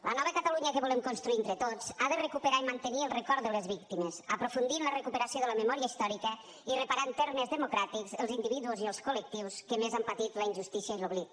la nova catalunya que volem construir entre tots ha de recuperar i mantenir el record de les víctimes aprofundir en la recuperació de la memòria històrica i reparar en termes democràtics els individus i els col·lectius que més han patit la injustícia i l’oblit